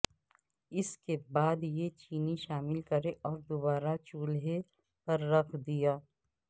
اس کے بعد یہ چینی شامل کریں اور دوبارہ چولہے پر رکھ دیا